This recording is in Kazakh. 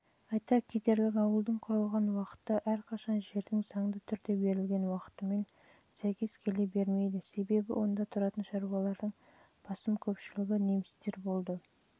айта кетерлігі ауылдың құрылған уақыты әрқашан жердің заңды түрде берілген уақытымен сәйкес келе бермейді себебі онда тұратын шаруалардың